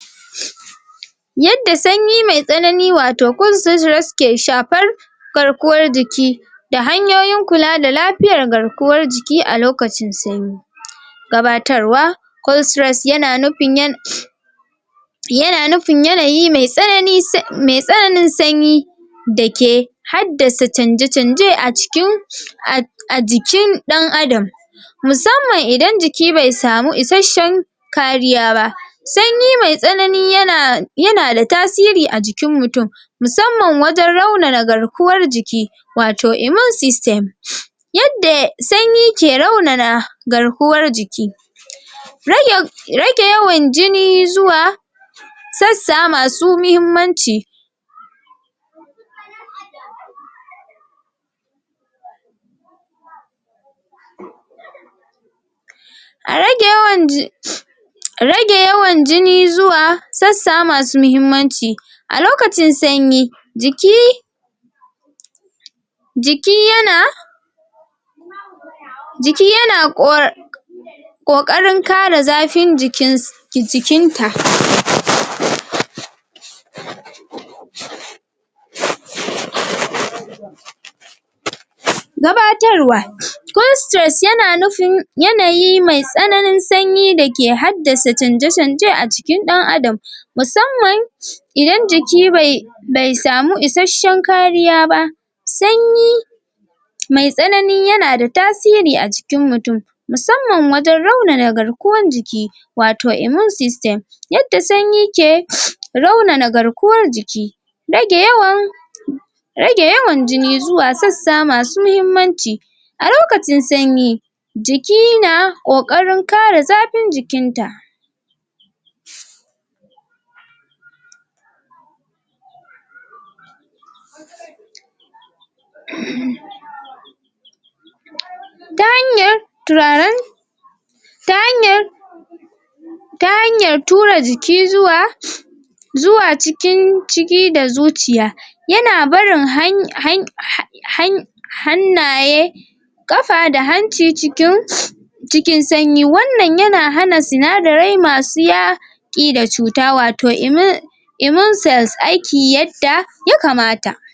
Yadda sanyi mai tsanani wato kunsujiros wato ke shafar garkuwar jiki da hanyoyin kula da lafiyar garkuwar jiki a lokacin sanyi. Gabatarwa: Kolsres ya na nufin ya ya na nufin yanayi mai tsanani mai tsananin sanyi da ke haddasa canje-canje a cikin a a jikin ɗan-adam, musamman idan jiki bai samu isasshen kariya ba. Sanyi mai tsanani ya na ya na da tasiri a jikin mutum musamman wajen raunan garkuwar jiki wato immune system. Yadda sanyi ke raunan garkuwar jiki. Rage rage yawan jini zuwa sassa masu muhimmanci A rage yawan ji rage yawan jini zuwa sassa masu muhimmanci. A lokacin sanyi, jiki jiki ya na jiki ya na ƙora ƙoƙarin kare zafin jikins jikinta noise] Gabatarwa Konstires ya na nufin yanayin mai tsananin sanyi da ke haddasa canje-canje a cikin ɗan-adam musamman idan jiki bai bai samu isasshen kariya ba. Sanyi mai tsanani ya na da tasiri a cikin mutum musamman wajen raunan garkuwan jiki wato immune system. Yadda sanyi ke raunana garkuwan jiki rage yawan rage yawan jini zuwa sassa masu muhimmanci a lokacin sanyi jiki na ƙoƙarin kare zafin jikinta. ta hanyar turaren ta hanyar ta hanyar tura jiki zuwa zuwa cikin ciki da zuciya ya na barin han han han ha hany hannaye, ƙafa da hanci cikin cikin sanyi wannan ya na hana sinadarai masu ya ƙi da cuta wato immu immune cells aiki yadda ya kamata.